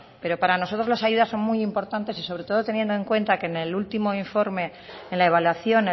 pero para nosotros las ayudas son muy importantes y sobre todo teniendo en cuenta que en el último informe en la evaluación